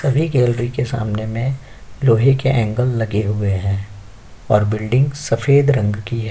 सभी गैलरी के सामने में लोहे के एंगल लगे हुए हैं और बिल्डिंग सफ़ेद रंग की है।